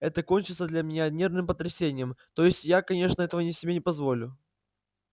это кончится для меня нервным потрясением то есть я конечно этого не себе не позволю